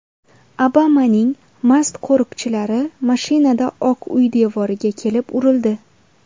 Obamaning mast qo‘riqchilari mashinada Oq uy devoriga kelib urildi.